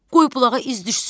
Qoy bulağa iz düşsün,